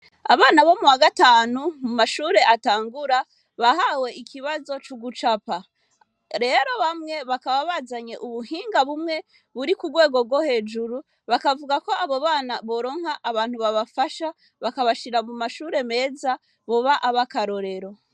abana bo muwagatanu mumashure atangura bahawe ikibazo c'ugucapa rero bamye bakaba bazanye ubuhinga bumwe buri kugwego gwo hejuru bakavugako abo bana boronka abantu babafasha bakabashira mumashure meza boba abakarorero